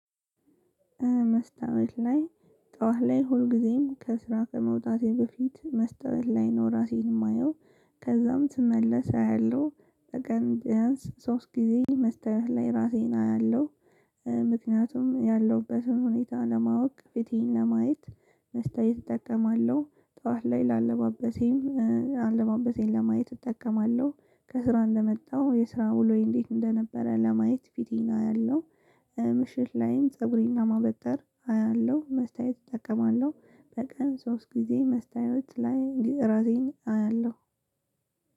መስታወት ላይ ጠዋት ላይ ሁልጊዜም ከስራ ከመውጣቴ በፊት መስታወት ላይ ነው ራሴን የማየው። ከዛም ስመለስ አያለሁ በቀን ቢያንስ ሶስት ጊዜ መስታወት ላይ ራሴን አያለሁ። ምክንያቱም ያለሁበትን ሁኔታ ለማወቅ ፊቴን ለማየት መስታወት እጠቀማለሁ። ጠዋት ላይ ለአለባበሴም አለባበሴን ለማየት እጠቀማለሁ። ከስራ እንደመጣው የስራ ውሎዬ እንዴት እንደነበረ ለማየት ፊቴን አያለሁ። ምሽት ላይም ፀጉሬን ለማበጠር አያለሁ መስታወት እጠቀማለሁ። በቀን ሶስት ጊዜ መስታወት ላይ እራሴን አያለሁ።